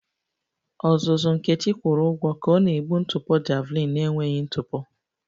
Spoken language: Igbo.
Ọzụzụ Nkechi kwụrụ ụgwọ ka ọ na-egbu ntụpọ javelin na-enweghị ntụpọ